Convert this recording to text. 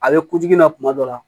A bɛ kunjugu na kuma dɔ la